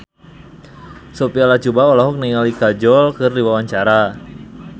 Sophia Latjuba olohok ningali Kajol keur diwawancara